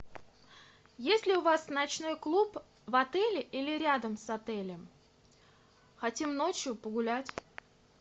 есть ли у вас ночной клуб в отеле или рядом с отелем хотим ночью погулять